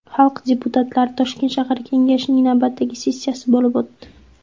Xalq deputatlari Toshkent shahar kengashining navbatdagi sessiyasi bo‘lib o‘tdi .